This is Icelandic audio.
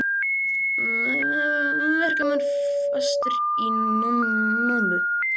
Verkamenn fastir í námu